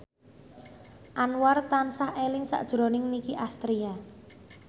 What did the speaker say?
Anwar tansah eling sakjroning Nicky Astria